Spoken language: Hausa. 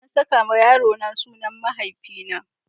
Na saka wa yarona sunan mahaifina.